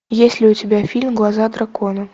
есть ли у тебя фильм глаза дракона